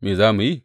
Me za mu yi?